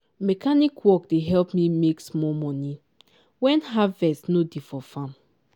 mechanic work dey help me make small moni when harvest no dey for farm.